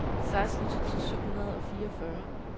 seksten tusind syv hundrede og fireogfyrre